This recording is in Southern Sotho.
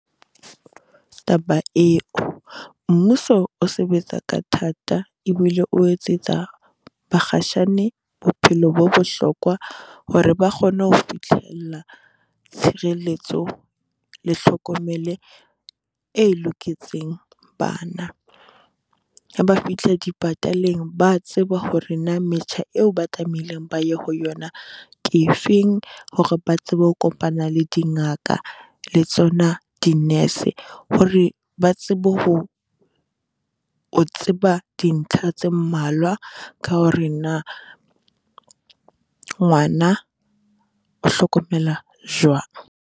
Taba eo, mmuso o sebetsa ka thata e bile o etsetsa bakgatshane bophelo bo bohlokwa hore ba kgone ho fihlella tshireletso le hlokomele e loketseng bana, ha ba fihle dipataleng, ba a tseba hore na metjha eo ba tlameileng ba ye ho yona ke efeng, hore ba tsebe ho kopana le dingaka le tsona di-nurse. Hore ba tsebe ho o tseba dintlha tse mmalwa ka hore na ngwana o hlokomela jwang.